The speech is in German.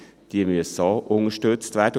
Diese müssen auch unterstützt werden.